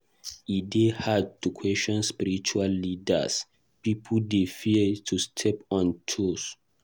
E dey hard to question spiritual leaders; pipo dey fear to step on toes.